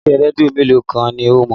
Ilé-iṣẹ́ rédíò mélòó kan ni o mọ̀?